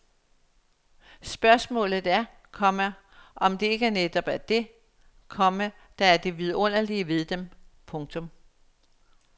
Spørgsmålet er, komma om det ikke netop er det, komma der er det vidunderlige ved dem. punktum